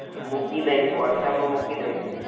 મૂકી દૈસ whatsapp મુકી દૈસ.